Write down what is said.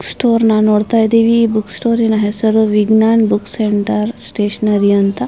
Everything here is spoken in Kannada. ಸ್ಟೋರ್ ನ ನೋಡುತ್ತಾ ಇದೀವಿ ಈ ಬುಕ್ ಸ್ಟೋರಿನ ಹೆಸರು ವಿಜ್ಞಾನ್ ಬುಕ್ ಸೆಂಟರ್ ಸ್ಟೇಷನರಿ ಅಂತ.